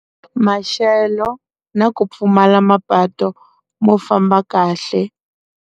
Maxelo na ku pfumala mapatu mo famba kahle.